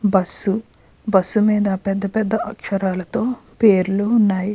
Bus bus మీద పెద్ధ పెద్ధ అక్షరాలతో పేర్లు ఉన్నాయి.